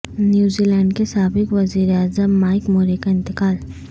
نیوزی lander کے سابق وزیراعظم مائک مورے کا انتقال